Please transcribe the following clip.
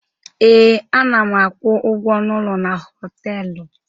Ee, ana m akwụ ụgwọ ọnụ ụlọ na họtelụ.